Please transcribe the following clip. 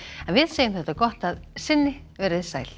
en við segjum þetta gott að sinni veriði sæl